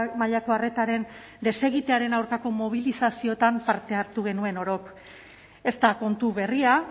mailako arretaren desegitearen aurkako mobilizazioetan parte hartu genuen orok ez da kontu berria